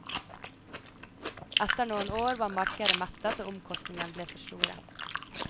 Etter noen år var markedet mettet og omkostningene blitt for store.